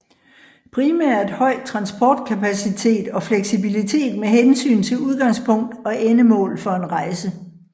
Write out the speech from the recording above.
Primært høj transportkapacitet og fleksibilitet med hensyn til udgangspunkt og endemål for en rejse